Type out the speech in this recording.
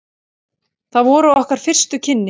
Það voru okkar fyrstu kynni.